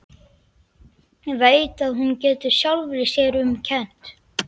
Veit að hún getur sjálfri sér um kennt.